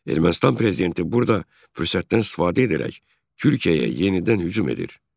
Ermənistan prezidenti burada fürsətdən istifadə edərək Türkiyəyə yenidən hücum edir.